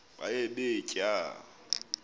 baye bee tyaa